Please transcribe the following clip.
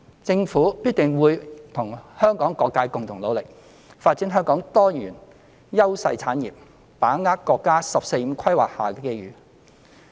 政府必定會與香港各界共同努力，發展香港多元優勢產業，把握國家"十四五"規劃下的機遇。